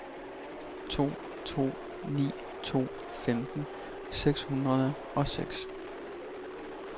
to to ni to femten seks hundrede og seks